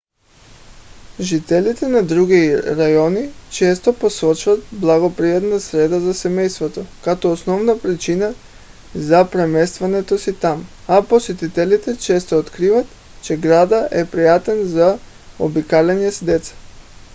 жителите на други райони често посочват благоприятна среда за семейство като основна причина за преместването си там а посетителите често откриват че градът е приятен за обикаляне с деца